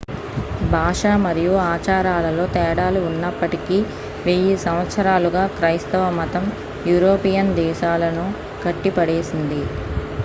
భాష మరియు ఆచారాలలో తేడాలు ఉన్నప్పటికీ వెయ్యి సంవత్సరాలుగా క్రైస్తవ మతం యూరోపియన్ దేశాలను కట్టిపడేసింది l